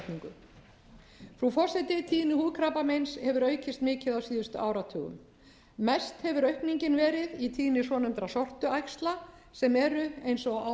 lagasetningu frú forseti tími húðkrabbameins hefur aukist mikið á síðustu áratugum mest hefur aukningin verið í tíðni svonefndra sortuæxla sem eru eins og áður